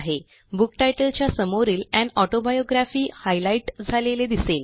book तितले च्या समोरील अन ऑटोबायोग्राफी हायलाईट झालेले दिसेल